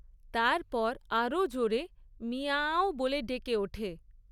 তারপর আরও জোরে মিয়াআআঁও বলে ডেকে ওঠে।